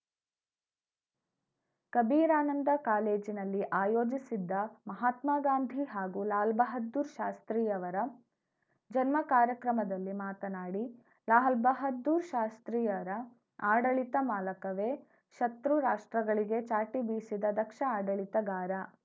ಕಬೀರಾನಂದ ಕಾಲೇಜಿನಲ್ಲಿ ಆಯೋಜಿಸಿದ್ದ ಮಹಾತ್ಮ ಗಾಂಧಿ ಹಾಗೂ ಲಾಲ್‌ ಬಹದ್ದೂರ್‌ ಶಾಸ್ತ್ರಿಯವರ ಜನ್ಮ ಕಾರ್ಯಕ್ರಮದಲ್ಲಿ ಮಾತನಾಡಿ ಲಾಲ್‌ ಬಹದ್ದೂರ್‌ ಶಾಸ್ತ್ರಿಯರ ಆಡಳಿತ ಮಾಲಕವೆ ಶತ್ರು ರಾಷ್ಟ್ರಗಳಿಗೆ ಚಾಟಿ ಬೀಸಿದ ದಕ್ಷ ಆಡಳಿತಗಾರ